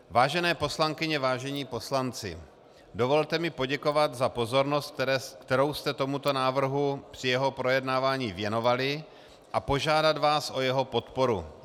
Vážené poslankyně, vážení poslanci, dovolte mi poděkovat za pozornost, kterou jste tomuto návrhu při jeho projednávání věnovali, a požádat vás o jeho podporu.